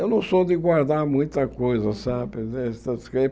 Eu não sou de guardar muita coisa, sabe?